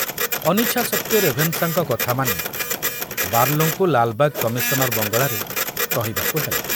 ଅନିଚ୍ଛା ସତ୍ତ୍ବେ ରେଭେନଶାଙ୍କ କଥାମାନି ବାର୍ଲୋଙ୍କୁ ଲାଲବାଗ କମିଶନର ବଙ୍ଗଳାରେ ରହିବାକୁ ହେଲା।